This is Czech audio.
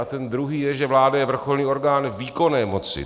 A ten druhý je, že vláda je vrcholný orgán výkonné moci.